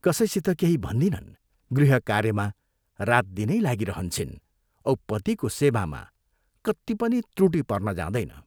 कसैसित केही भन्दिनन्, गृहकार्यमा रातदिनै लागिरहन्छिन् औ पतिको सेवामा कत्ति पनि त्रुटि पर्न जाँदैन।